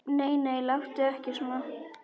Nei, nei, láttu ekki svona.